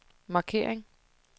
markering